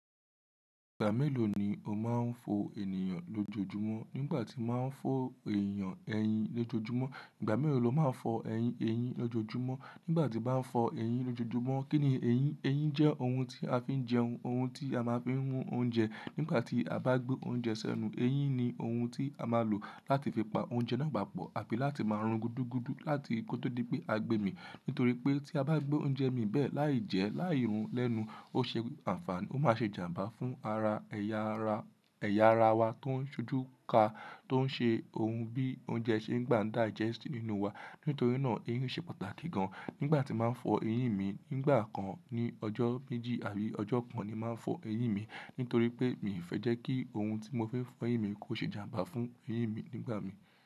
Ìgbà mélòó ni o máa ń fọ ènìyàn lójoojúmọ́? Nígbà tí máa ń fọ èèyàn ẹyin lójoojúmọ́, ìgbà mélòó lọ máa ń fọ ẹyin lójoojúmọ́? Nígbà tín bá ń fọ ẹyin lójoojúmọ́, kíni ẹyin? Ẹyin jẹ́ ohun tí a fi ń jẹun. Ohun tí a máa ń fi n mu oúnjẹ nígbà tí a bá gbé oúnjẹ sẹ́nu. Ẹyin ni ohun tí a máa lò láti fi pa oúnjẹ náà papọ̀ àti láti máa run gudugudu láti kó tó di pé a gbé e mì. Nítorí pé tí a bá gbé oúnjẹ mì bẹ́ẹ̀ lai jẹ́, lai run lẹ́nu, ó ṣe àǹfààní, ó máa ṣe ìjàmbá fún ara ẹ̀ya ara, ẹ̀ya ara wa tó ń ṣojú ka tó ń ṣe ohun bí oúnjẹ ṣe ń gbà digest nínú wa. Nítorí náà ẹyin ṣe pàtàkì gan. Nígbà tí máa ń fọ ẹyin mi, nígbà kan ní ọjọ́ méjì àbí ọjọ́ kan ni máa ń fọ ẹyin mi. Nítorí pé mi ò fẹ́ jẹ́ kí ohun tí mo fẹ́ fọ ẹyin mi kó ṣe ìjàmbá fún ẹyin mi nígbà mi.